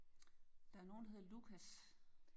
Der er nogen der hedder Lucas